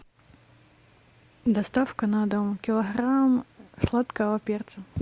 доставка на дом килограмм сладкого перца